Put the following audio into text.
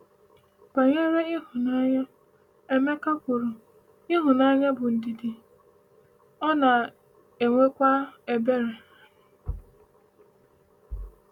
Banyere ịhụnanya, Emeka kwuru: “Ịhụnanya bụ ndidi, ọ na-enwekwa ebere.”